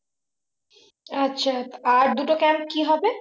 আচ্ছা আর দুটো camp কি হবে?